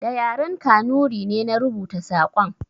Da yaren Kanuri ne na rubuta saƙon